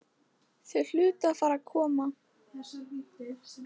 Þau hlutu að fara að koma.